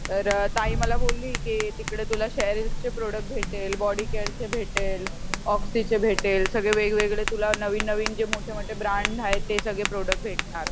तर ताई मला बोलली की तिकडे तुला शेरिल्स चे प्रोड़क्ट तिथे भेटेल, बॉडी केयरचे भेटेल, ओक्सीचे भेटेल सगळे वेगवेगळे तुला नवीन नवीन जे मोठे मोठे ब्रांड आहेत ते सगळे प्रोड़क्ट भेटणार